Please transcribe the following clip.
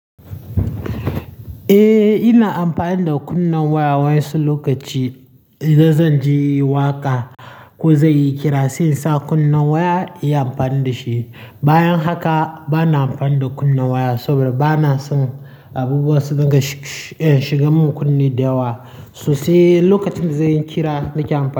Eh, ina amfani da kunnen waya wai su lokaci idan zan ji waƙa ko zan yi kira, sai in sa kunnen waya iya amfani da shi. Bayan haka bana amfani da kunna waya saboda bana son abubuwa suna shigan mun kunne da yawa sosai. Lokacin da zan yi kira nake amfani da shi.